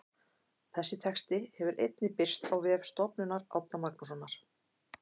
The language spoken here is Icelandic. Þessi texti hefur einnig birst á vef Stofnunar Árna Magnússonar.